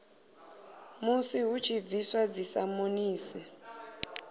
musi hu tshi bviswa dzisamonisi